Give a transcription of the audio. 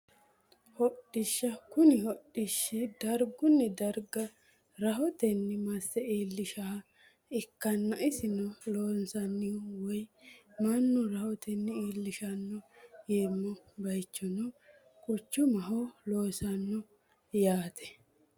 Hodhdhisha kuni hodhishi darguni darga rahoteni mase iilishanoha ikanna isino loosanohu woyo manna rahoteni iilishano yineemo bayiichino quchumaho loosanoho yaate.